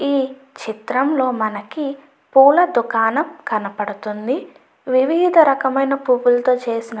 ఈ చిత్రం లో మనకి పులా దుకాణం కనపడుతుంది. వివిద రకమైన ఆయన పుల్లు తో చేసిన --